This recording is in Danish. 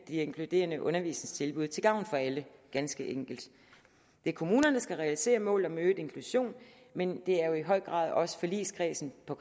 inkluderende undervisningstilbud til gavn for alle ganske enkelt det er kommunerne der skal realisere målet om øget inklusion men det er jo i høj grad også forligskredsen på